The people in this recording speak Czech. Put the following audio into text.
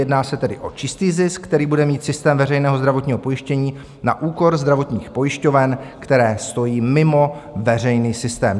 Jedná se tedy o čistý zisk, který bude mít systém veřejného zdravotního pojištění na úkor zdravotních pojišťoven, které stojí mimo veřejný systém.